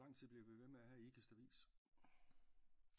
Hvor lang tid bliver vi ved med at have Ikastavis